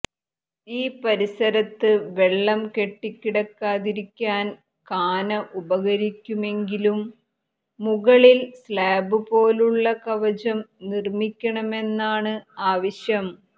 ഈ പരിസരത്ത് വെള്ളം കെട്ടിക്കിടക്കാതിരിക്കാൻ കാന ഉപകരിക്കുമെങ്കിലും മുകളിൽ സ്ലാബുപോലുള്ള കവചം നിർമിക്കണമെന്നാണ് ആവശ്യം